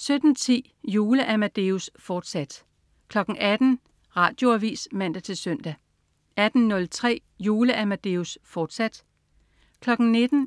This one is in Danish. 17.10 Jule-Amadeus, fortsat 18.00 Radioavis (man-søn) 18.03 Jule-Amadeus, fortsat 19.00